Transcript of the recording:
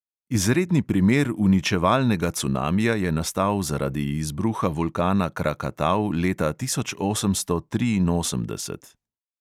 Izredni primer uničevalnega cunamija je nastal zaradi izbruha vulkana krakatau leta tisoč osemsto triinosemdeset.